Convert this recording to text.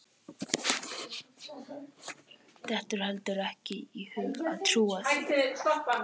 Dettur heldur ekki í hug að trúa því.